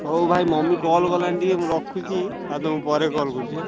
ହଉଭାଇ ମାମୁଁ call କଲାଣି ମୁଁ ଟିକେ ରଖୁଛି ଆଉ ମୁଁ ତମକୁ ପରେ call କରୁଛି ହାଁ।